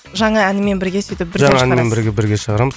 жаңа әнімен бірге сөйтіп бірге шығарасыз жаңа әнімен бірге бірге шығарамыз